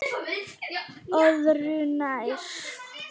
Öðru nær.